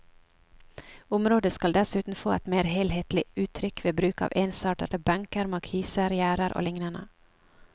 Området skal dessuten få et mer helhetlig uttrykk ved bruk av ensartede benker, markiser, gjerder og lignende.